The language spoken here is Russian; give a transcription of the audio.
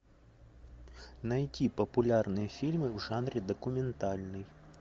найти популярные фильмы в жанре документальный